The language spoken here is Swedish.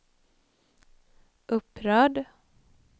upprörd